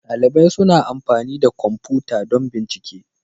Dalibai suna amfani da kwamfuta don bincike.